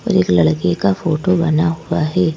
और एक लड़के का फोटो बना हुआ है।